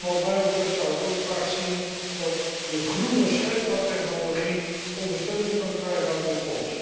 Wat mij betreft zou ik ook graag zien dat de groene scheepvaarttechnologie ondersteuning kan krijgen uit dit fonds.